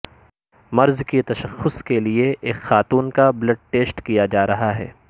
مرض کی تشخص کے لیے ایک خاتون کا بلڈ ٹیسٹ کیا جارہا ہے